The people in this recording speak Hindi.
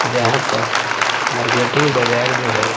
जहाँ पर --मार्केटिंग बाजार जो है--